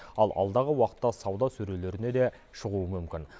ал алдағы уақытта сауда сөрелеріне де шығуы мүмкін